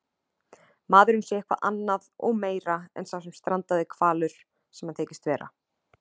maðurinn sé eitthvað annað og meira en sá strandaði hvalur sem hann þykist vera.